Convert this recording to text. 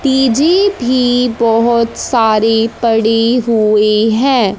तीजी भी बहोत सारी पड़ी हुई है।